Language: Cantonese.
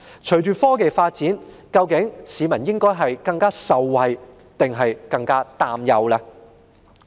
隨着科技發展，市民會更受惠還是更擔憂？